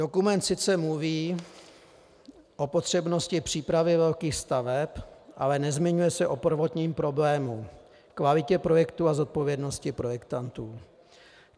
Dokument sice mluví o potřebnosti přípravy velkých staveb, ale nezmiňuje se o prvotním problému - kvalitě projektu a zodpovědnosti projektantů.